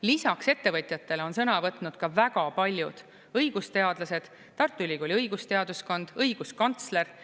Lisaks ettevõtjatele on sõna võtnud väga paljud õigusteadlased, Tartu Ülikooli õigusteaduskond, õiguskantsler.